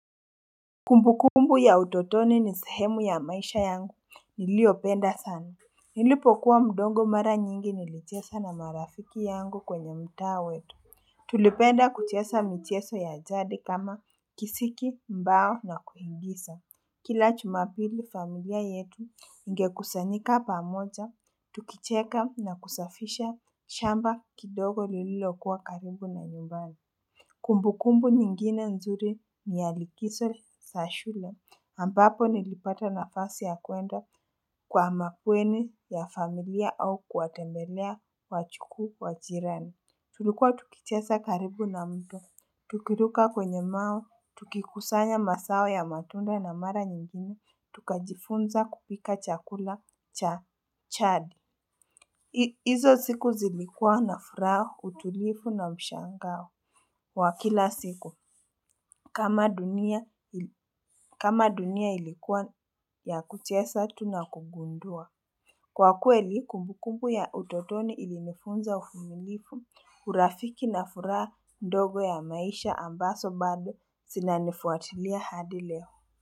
Kumbukumbu ya utotoni ni sehemu ya maisha yangu niliyopenda sana nilipokuwa mdogo mara nyingi nilichesa na marafiki yangu kwenye mtaa wetu Tulipenda kuchesa mcheso ya jadi kama kisiki mbao na kuigisa Kila chumapili familia yetu ingekusanyika pamoja tukicheka na kusafisha chamba kidogo lililokuwa karibu na nyumbani Kumbu kumbu nyingine nzuri ni ya likiso sa shule ambapo nilipata nafasi ya kuenda kwa makweni ya familia au kuwatembelea wachukuu wa jirani. Tulikuwa tukichesa karibu na mto. Tukiruka kwenye mao, tukikusanya masao ya matunda na mara nyingine, tukajifunza kupika chakula cha chadi. Izo siku zilikuwa na furaha, utulifu na ushangao. Kwa kila siku kama dunia ili kama dunia ilikuwa ya kuchesa tu na kugundua Kwa kweli kumbukumbu ya utotoni ilinifunza ufumilifu, urafiki na furaha ndogo ya maisha ambaso bado sinanifuatilia hadi leo.